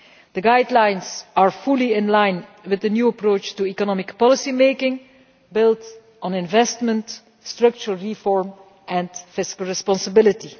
The guidelines are fully in line with the new approach to economic policy-making built on investment, structural reform and fiscal responsibility.